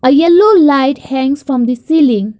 a yellow light hangs from the ceiling.